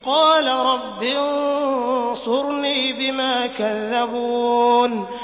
قَالَ رَبِّ انصُرْنِي بِمَا كَذَّبُونِ